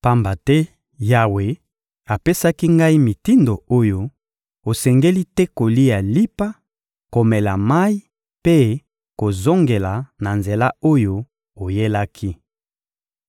Pamba te Yawe apesaki ngai mitindo oyo: «Osengeli te kolia lipa, komela mayi mpe kozongela na nzela oyo oyelaki.»